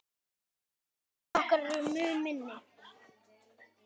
Aðrir flokkar eru mun minni.